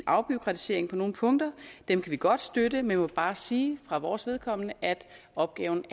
afbureaukratisering på nogle punkter den kan vi godt støtte men vi må bare sige at for vores vedkommende er opgaven